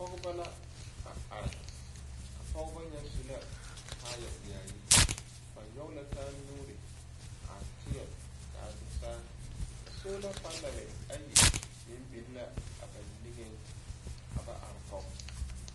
Pɔgeba la a are. A pɔgeba nyɛ su la kaaya yaayi. Ba nyɔge la taanuuri a tẽɛ ka do saa sola panɛlɛ ayi meŋ biŋ la aba niŋeŋ ka ba are kɔŋe.